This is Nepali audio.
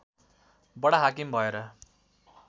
बडा हाकिम भएर